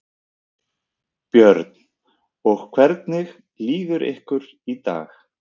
Björn: Og hvernig líður ykkur í dag?